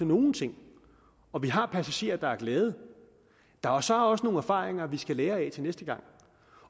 nogle ting og vi har passagerer der er glade der er så også nogle erfaringer vi skal lære af til næste gang